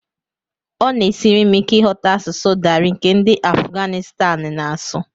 Ọ na-esiri m ike ịghọta asụsụ Dari nke ndị Afuganịstan na-asụ